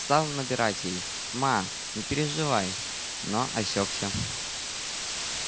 стал набирать ей ма не переживай но осекся